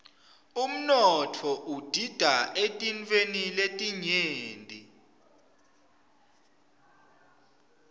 umnotfo udita eetintfweni letinyenti